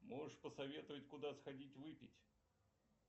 можешь посоветовать куда сходить выпить